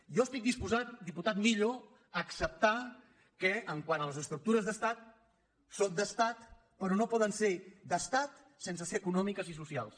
jo estic disposat diputat millo a acceptar que quant a les estructures d’estat són d’estat però no po·den ser d’estat sense ser econòmiques i socials